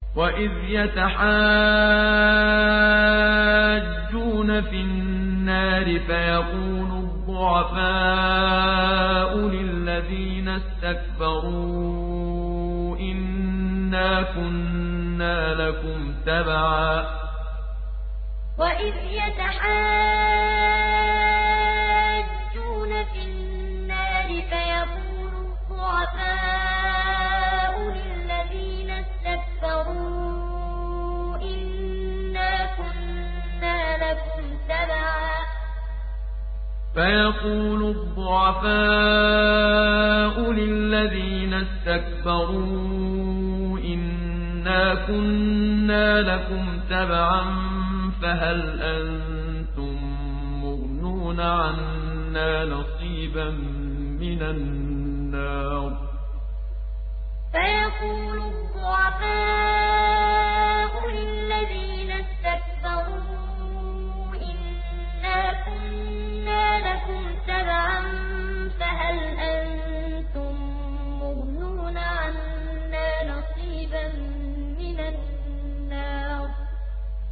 وَإِذْ يَتَحَاجُّونَ فِي النَّارِ فَيَقُولُ الضُّعَفَاءُ لِلَّذِينَ اسْتَكْبَرُوا إِنَّا كُنَّا لَكُمْ تَبَعًا فَهَلْ أَنتُم مُّغْنُونَ عَنَّا نَصِيبًا مِّنَ النَّارِ وَإِذْ يَتَحَاجُّونَ فِي النَّارِ فَيَقُولُ الضُّعَفَاءُ لِلَّذِينَ اسْتَكْبَرُوا إِنَّا كُنَّا لَكُمْ تَبَعًا فَهَلْ أَنتُم مُّغْنُونَ عَنَّا نَصِيبًا مِّنَ النَّارِ